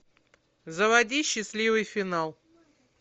заводи счастливый финал